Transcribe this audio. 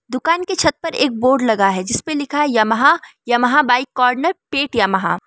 दुकान की छत पर एक बोर्ड लगा है। जिस पर लिखा है यामाहा यामाहा बाइक कॉर्नर पेट यामाहा --